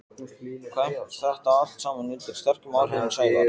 kvæmt þetta allt saman undir sterkum áhrifum Sævars.